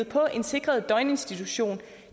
på en sikret døgninstitution